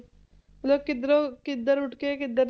ਮਤਲਬ ਕਿੱਧਰੋਂ ਕਿੱਧਰ ਉੱਠ ਕੇ ਕਿੱਧਰ,